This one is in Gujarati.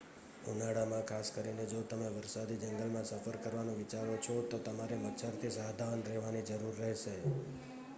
ઉનાળામાં ખાસ કરીને જો તમે વરસાદી જંગલમાં સફર કરવાનું વિચારો છો તો તમારે મચ્છરથી સાવધાન રહેવાની જરૂર રહેશે